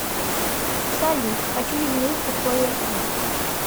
салют хочу изменить условия кредита